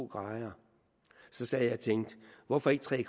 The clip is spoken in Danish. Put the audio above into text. grader så sad jeg og tænkte hvorfor ikke tre